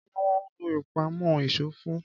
Kí ni wọ́n ń lò ìpamọ́ ìṣó fún